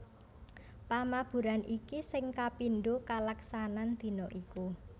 Pamaburan iki sing kapindho kalaksanan dina iku